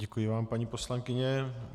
Děkuji vám, paní poslankyně.